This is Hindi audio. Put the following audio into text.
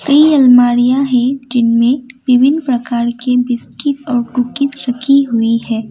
कई अलमारियां है जिनमें विभिन्न प्रकार के बिस्किट और कुकीज़ रखी हुई है।